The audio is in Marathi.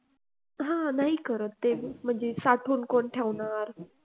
हा नाही करत ते म्हणजे साठवून कोण ठेवणार